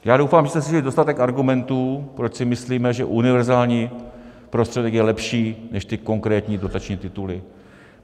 Já doufám, že jste slyšeli dostatek argumentů, proč si myslíme, že univerzální prostředek je lepší než ty konkrétní dotační tituly.